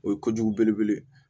O ye kojugu belebele ye